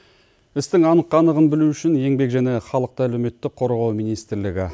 істің анық қанығын білу үшін еңбек және халықты әлеуметтік қорғау министрлігі